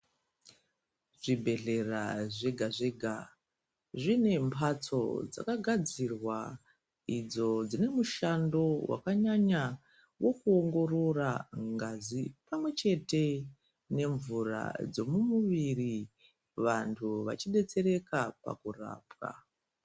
Zvibhedhlera zvega-zvega, zvine mhatso dzakagadzirwa idzo dzine mushando vakanyanya. Vekuongorora ngazi pamwe chete nemvura dzemumuviri vantu vachibetsereka pakurapwa.